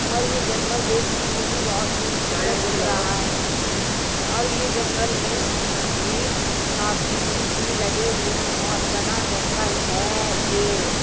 और ये जंगल देखने में भी बहोत खूबसूरत दिख रहा है और ये जंगल में भी काफी फूल भी लगे हुए हैं और घना जंगल है ये।